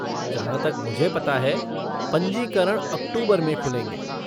जहाँ तक मुझे पता है पंजीकरण अक्टूबर में खुलेंगे।